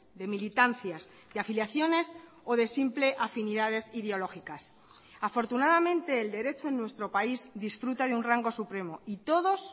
de militancias de afiliaciones o de simple afinidades ideológicas afortunadamente el derecho en nuestro país disfruta de un rango supremo y todos